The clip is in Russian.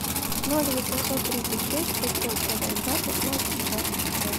ноль восемьсот тридцать шесть пятьсот сорок два пятнадцать двадцать пять